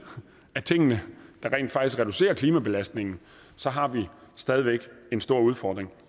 af tingene der rent faktisk reducerer klimabelastningen så har vi stadig væk en stor udfordring